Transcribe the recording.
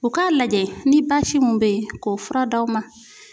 U ka lajɛ ni basi mun be yen, k'o fura d'aw ma.